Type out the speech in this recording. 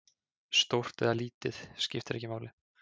Stórt eða lítið, skiptir ekki máli.